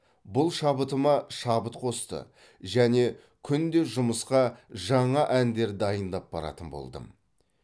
бұл шабытыма шабыт қосты және күнде жұмысқа жаңа әндер дайындап баратын болдым